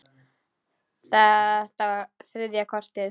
Þetta var þriðja kortið.